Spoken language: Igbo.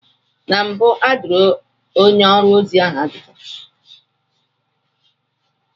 Na mbụ a jụrụ onye ọrụ ozi ahụ ajụjụ.